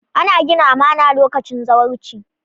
Ana gina amana lokacin zawarci.